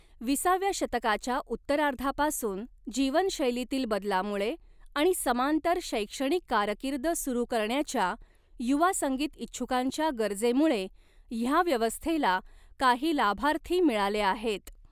विसाव्या शतकाच्या उत्तरार्धापासून, जीवनशैलीतील बदलामुळे आणि समांतर शैक्षणिक कारकीर्द सुरू करण्याच्या युवा संगीत इच्छुकांच्या गरजेमुळे, ह्या व्यवस्थेला काही लाभार्थी मिळाले आहेत.